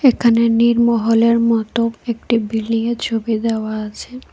এখানে নির্মহলের মতো একটি বিল্ডিংয়ের ছবি দেওয়া আছে।